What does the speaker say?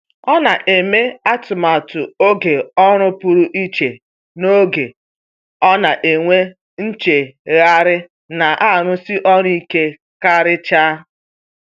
Ọ na-eme atụmatụ oge ọrụ pụrụ iche n’oge ọ na-enwe nchegharị na arụsi ọrụ ike karịcha.